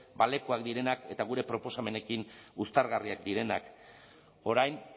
balekoak direnak eta gure proposamenekin uztargarriak direnak orain